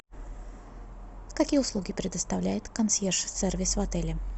какие услуги предоставляет консьерж сервис в отеле